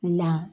La